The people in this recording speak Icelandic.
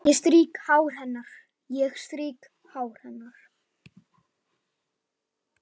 Ég strýk hár hennar.